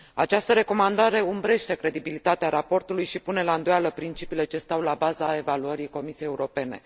Această recomandare umbrește credibilitatea raportului și pune la îndoială principiile ce stau la baza evaluării Comisiei Europene.